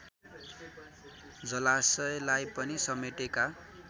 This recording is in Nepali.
जलाशयलाई पनि समेटेका